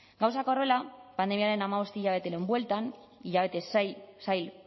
gauzak horrela pandemiaren hamabost hilabeteren bueltan hilabete zail